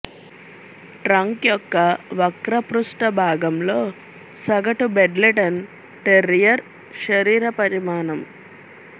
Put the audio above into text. trunk యొక్క వక్ర పృష్ఠ భాగంలో సగటు బెడ్లెటన్ టెర్రియర్ శరీర పరిమాణం